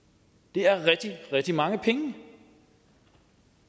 det er rigtig rigtig mange penge